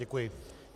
Děkuji.